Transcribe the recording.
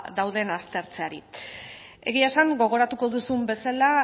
dauden aztertzeari egia esan gogoratuko duzun bezala